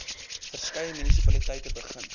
verskeie munisipaliteite begin